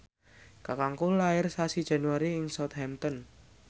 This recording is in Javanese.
kakangku lair sasi Januari ing Southampton